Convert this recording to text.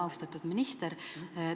Austatud minister!